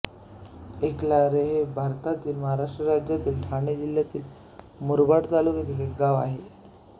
एकलाहरे हे भारतातील महाराष्ट्र राज्यातील ठाणे जिल्ह्यातील मुरबाड तालुक्यातील एक गाव आहे